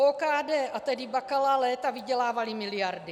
OKD a tedy Bakala léta vydělávali miliardy.